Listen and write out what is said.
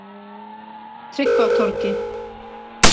Tryggvatorgi